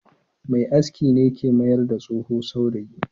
Mai aski ne ke mai da tsoho saurayi.